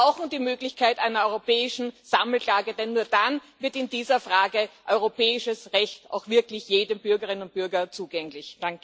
Wir brauchen die Möglichkeit einer europäischen Sammelklage, denn nur dann wird in dieser Frage europäisches Recht auch wirklich jeder Bürgerin und jedem Bürger zugänglich.